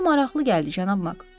Mənə maraqlı gəldi cənab Mak.